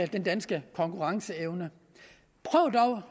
den danske konkurrenceevne prøv dog